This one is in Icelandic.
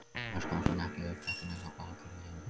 Loks komst hann ekki upp brekkuna hjá bakaríinu